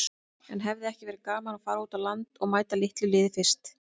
En hefði ekki verið gaman að fara út á land og mæta litlu liði fyrst?